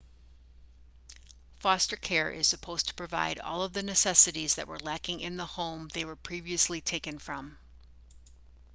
foster care is supposed to provide all the necessities that were lacking in the home they were previously taken from